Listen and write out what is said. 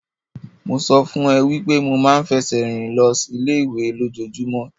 Mo sọ fún ẹ wípé mo máa ń fẹsẹ̀ rìn lọ ilé ìwé lójojúmọ́.